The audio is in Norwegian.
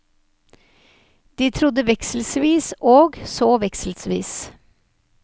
De trodde vekselvis og så vekselvis.